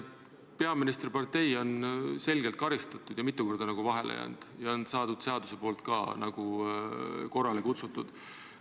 Peaministripartei on selgelt karistatud ja mitu korda vahele jäänud ja seaduse poolt ka korrale kutsutud.